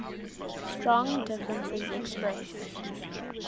strong differences expressed